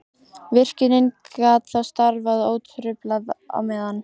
Virkjunin gat þá starfað ótrufluð á meðan.